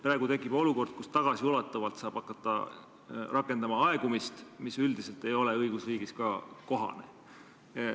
Praegu tekib olukord, kus saab hakata rakendama aegumist tagasiulatuvalt, mis üldiselt ei ole õigusriigis kohane.